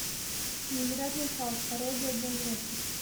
невероятный халк пародия для взрослых